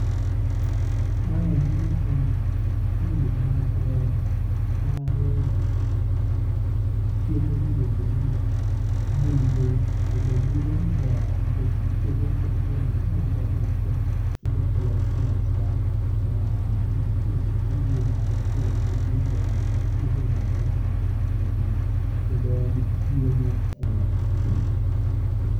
Maendi en puro mar mar chiemo miluongo ni budho, kendo budho ni ber nikech itoyogo inyalo use kendo okelo pesa ma minyalo tii go mar puonjo nyithindo kendo tiyo go a mahitaji moko matindo thindo kendo en chiemo e ot.